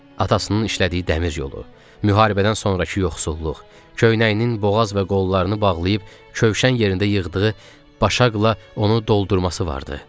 Atasının işlədiyi dəmir yolu, müharibədən sonrakı yoxsulluq, köynəyinin boğaz və qollarını bağlayıb kövşən yerində yığdığı başaqla onu doldurması vardı.